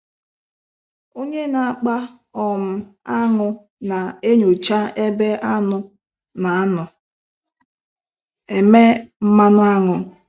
Onye na-akpa um aṅụ na-enyocha ebe anụ na-anọ eme mmanụ aṅụ.